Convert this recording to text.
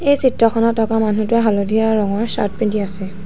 এই চিত্ৰখন থকা মানুহটোৱে হালধীয়া ৰঙৰ চাৰ্ট পিন্ধি আছে।